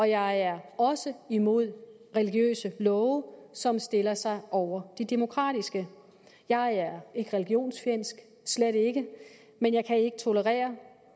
jeg er også imod religiøse love som stiller sig over de demokratiske jeg er ikke religionsfjendsk slet ikke men jeg kan ikke tolerere